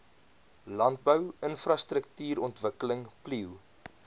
landbou infrastruktuurontwikkeling plio